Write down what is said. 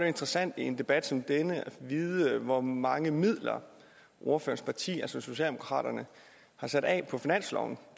interessant i en debat som denne at vide hvor mange midler ordførerens parti socialdemokraterne har sat af på finansloven